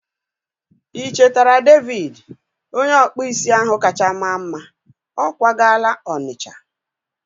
I chetere David? Onye ọkpụ isi ahụ kacha maa mma. Ọ kwagala Onitcha